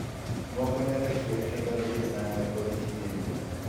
Moko nyalo chwer kendo malil nanga kod gige nindo.